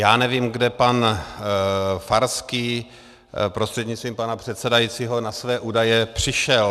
Já nevím, kde pan Farský prostřednictvím pana předsedajícího na své údaje přišel.